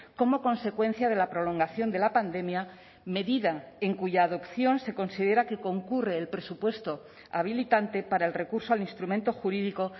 como consecuencia de la prolongación de la pandemia medida en cuya adopción se considera que concurre el presupuesto habilitante para el recurso al instrumento jurídico